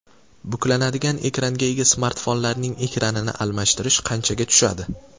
Buklanadigan ekranga ega smartfonlarning ekranini almashtirish qanchaga tushadi?.